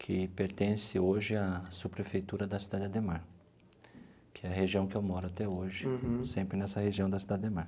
que pertence hoje à subprefeitura da cidade Ademar, que é a região que eu moro até hoje, sempre nessa região da cidade Ademar.